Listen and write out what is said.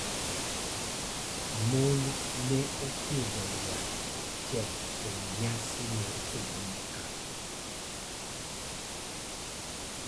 Mon ne opidho yath achiel e nyasi mar higa mokalo.